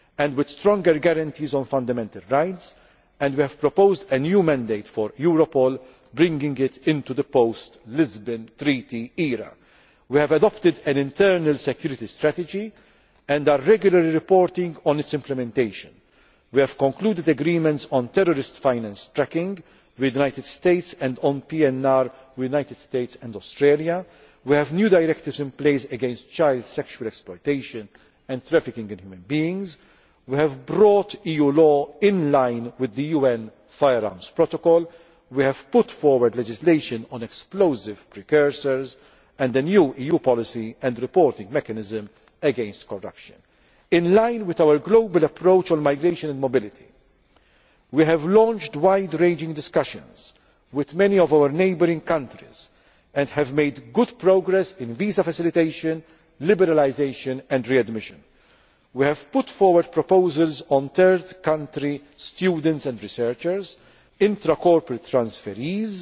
for more effective operation, with stronger guarantees on fundamental rights, and we have proposed a new mandate for Europol, bringing it into the post Lisbon Treaty era. We have adopted an internal security strategy and are regularly reporting on its implementation. We have concluded agreements on terrorist finance tracking with the United States and on PNR with the United States and Australia. We have new directives in place against child sexual exploitation and trafficking in human beings. We have brought EU law into line with the UN Firearms Protocol. We have put forward legislation on explosive precursors and a new EU policy and reporting mechanism against corruption. In line with our global approach on migration and mobility we have launched wide ranging discussions with many of our neighbouring countries and have made good progress on visa facilitation, liberalisation and readmission. We have put forward proposals on third country students and researchers as